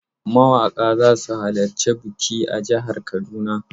Mawaƙa za su halarci biki a jihar Kaduna.